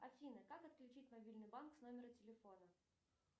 афина как отключить мобильный банк с номера телефона